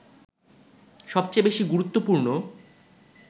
সবচেয়ে বেশি গুরুত্বপূর্ণ